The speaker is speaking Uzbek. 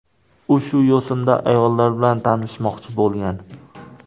U shu yo‘sinda ayollar bilan tanishmoqchi bo‘lgan.